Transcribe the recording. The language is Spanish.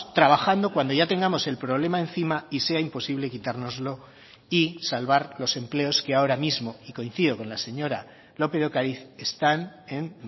trabajando cuando ya tengamos el problema encima y sea imposible quitárnoslo y salvar los empleos que ahora mismo y coincido con la señora lópez de ocariz están en